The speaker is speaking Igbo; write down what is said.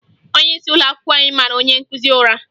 Onyeisi ụlọakwụkwọ anyị mara onye nkụzi ụra